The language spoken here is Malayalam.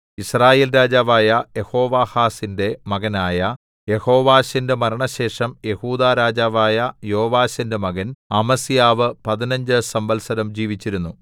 യിസ്രായേൽ രാജാവായ യെഹോവാഹാസിന്റെ മകനായ യെഹോവാശിന്റെ മരണശേഷം യെഹൂദാ രാജാവായ യോവാശിന്റെ മകൻ അമസ്യാവ് പതിനഞ്ച് സംവത്സരം ജീവിച്ചിരുന്നു